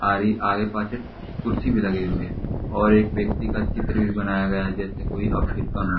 आ रही आगे पाछे कुर्सी भी लगी हुई है और एक व्यक्ति का चित्र भी बनाया गया है जैसे कोई अफिक हो।